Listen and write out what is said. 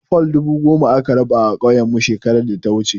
Fol dubu goma aka raba a ƙauyenmu shekarar data wuce.